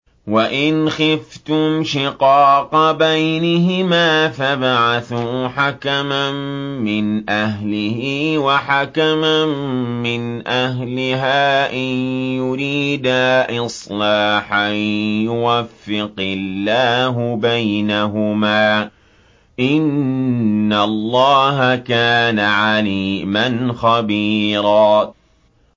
وَإِنْ خِفْتُمْ شِقَاقَ بَيْنِهِمَا فَابْعَثُوا حَكَمًا مِّنْ أَهْلِهِ وَحَكَمًا مِّنْ أَهْلِهَا إِن يُرِيدَا إِصْلَاحًا يُوَفِّقِ اللَّهُ بَيْنَهُمَا ۗ إِنَّ اللَّهَ كَانَ عَلِيمًا خَبِيرًا